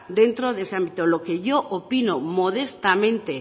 dentro de ese ámbito lo que yo opino modestamente